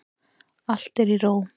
Allt er í ró.